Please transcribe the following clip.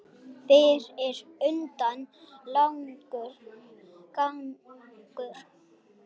Fyrir utan langur gangur.